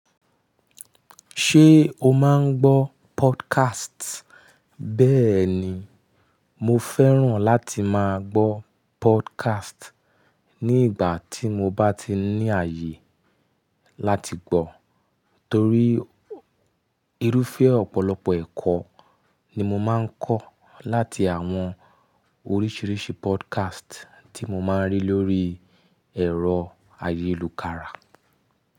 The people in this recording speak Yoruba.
Ṣé o máa ń gbọ́ podcast? Bẹ́ẹ̀ ni, mo fẹ́ràn láti máa gbọ́ podcast ní ìgbà tí mo bá ti ní ààyè láti gbọ́, torí irúfẹ́ ọ̀pọ̀lọpọ̀ ẹ̀kọ́ ni mo máa ń kọ́ láti àwọn oríṣiríṣi podcast tí mo máa ń rí lóríi ẹ̀rọ ayélukára.